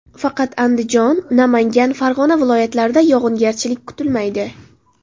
Faqat Andijon, Namangan, Farg‘ona viloyatlarida yog‘ingarchilik kutilmaydi.